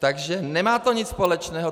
Takže nemá to nic společného.